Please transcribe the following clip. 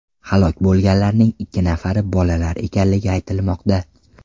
Halok bo‘lganlarning ikki nafari bolalar ekanligi aytilmoqda.